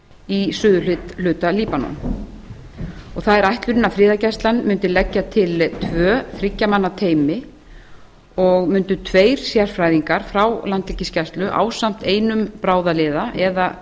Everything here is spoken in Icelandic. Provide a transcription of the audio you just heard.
í suðurhluta líbanon og það er ætlunin að friðargæslan mundi leggja til tvö þriggja manna teymi og mundu tveir sérfræðingar frá landhelgisgæslu ásamt einum bráðaliða eða